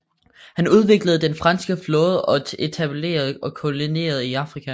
Han udviklede den franske flåde og etablerede kolonier i Afrika